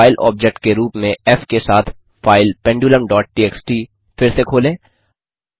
file object के रूप में फ़ के साथ फाइल पेंडुलम डॉट टीएक्सटी फिर से खोलें